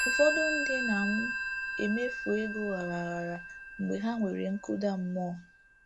Ụfọdụ ndị na m-emefu ego aghara aghara mgbe ha nwere nkụda mmụọ.